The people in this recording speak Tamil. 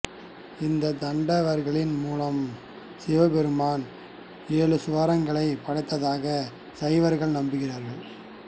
இந்த தாண்டவங்களின் மூலமாக சிவபெருமான் ஏழு சுவரங்களைப் படைத்ததாக சைவர்கள் நம்புகிறார்கள்